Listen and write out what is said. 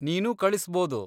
ನೀನೂ ಕಳಿಸ್ಬೋದು.